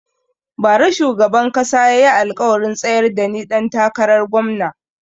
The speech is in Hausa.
Ba ra shugaban kasa ya yi alkawarin tsayar da ni ɗan takarar gomna